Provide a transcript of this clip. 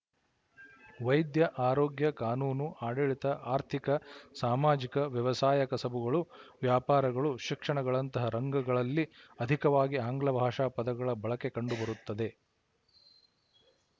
ವೈದ್ಯ ಆರೋಗ್ಯ ಕಾನೂನು ಆಡಳಿತ ಆರ್ಥಿಕ ಸಾಮಾಜಿಕ ವ್ಯವಸಾಯ ಕಸಬುಗಳು ವ್ಯಾಪಾರಗಳು ಶಿಕ್ಷಣಗಳಂತಹ ರಂಗಗಳಲ್ಲಿ ಅಧಿಕವಾಗಿ ಆಂಗ್ಲ ಭಾಷಾ ಪದಗಳ ಬಳಕೆ ಕಂಡುಬರುತ್ತದೆ